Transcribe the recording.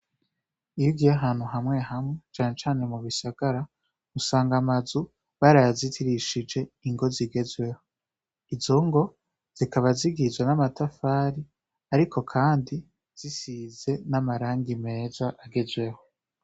Iyo ugiye ahantu hamwe hamwe cane cane mu bisagara usanga amazu barayazitirishije ingo zigezweho. Izo ngo zikaba zigizwe n'amatafari ariko kandi zisize n'amarangi meza agezweho.